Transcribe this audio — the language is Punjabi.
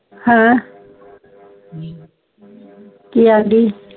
ਹਾਂ ਕਿ ਐਂਡੀ